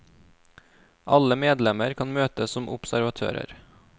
Alle medlemmer kan møte som observatører.